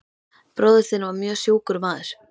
Bróðir þinn var mjög sjúkur maður.